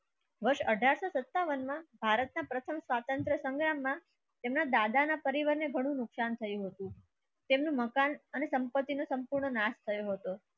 સન આઠરા સો સત્તાવન માં ભારતના પ્રથમ સ્વાતંત્ર સંગ્રામમાં તેમના દાદા ના પરિવારને ઘણું નુકસાન થયું હતું. તેમનું મકાન અને સંપત્તિનો સંપૂર્ણ નાશ થયો હતો.